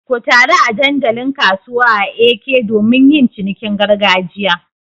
Ku taru a dandalin kasuwa a Eke domin yin cinikin gargajiya.